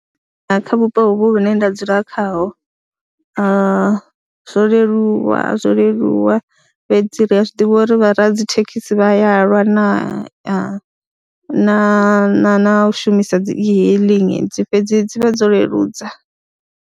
Kha vhupo hovhu hune nda dzula khaho zwo leluwa zwo leluwa fhedzi ri a zwi ḓivha uri vha radzithekhisi vha ya lwa na na na na na u shumisa dzi e-hailing fhedzi dzi vhe dzo leludza.